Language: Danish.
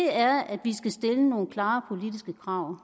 er at vi skal stille nogle klare politiske krav